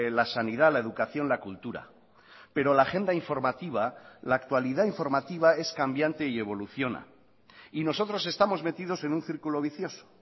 la sanidad la educación la cultura pero la agenda informativa la actualidad informativa es cambiante y evoluciona y nosotros estamos metidos en un círculo vicioso